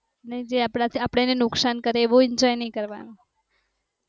ને જે આપણ ને નુકશાન કરે એવું enjoy નહિ કરવાનું